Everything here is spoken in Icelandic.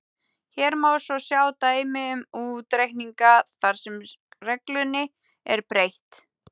Hér má svo sjá dæmi um útreikninga þar sem reglunni er beitt: